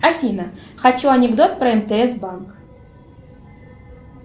афина хочу анекдот про мтс банк